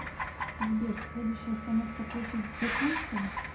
сбер следующая остановка площадь дзержинского